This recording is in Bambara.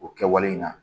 O kɛwale in na